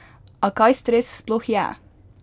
A kaj stres sploh je?